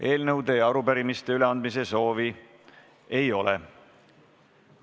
Eelnõude ja arupärimiste üleandmise soovi ei ole.